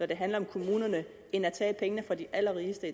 det handler om kommunerne end at tage pengene fra de allerrigeste